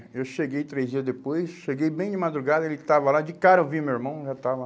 É, eu cheguei três dias depois, cheguei bem de madrugada, ele estava lá, de cara eu vi meu irmão, já estava...